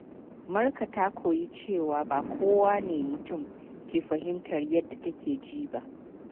Marka ta koyi cewa ba kowane mutum ke fahimtar yadda take ji ba.